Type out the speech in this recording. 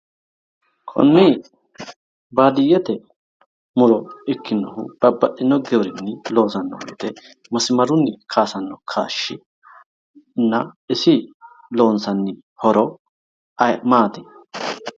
Konni baadiyyete muro ikkinohu babbaxxino giwirinni loosanno woyte masimarunni kaayisanno kaashshina isi loonsanni horo maati